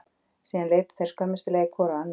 Síðan líta þeir skömmustulegir hvor á annan.